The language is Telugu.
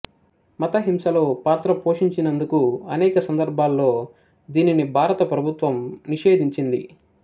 మత హింసలో పాత్ర పోషించినందుకు అనేక సందర్భాల్లో దీనిని భారత ప్రభుత్వం నిషేధించింది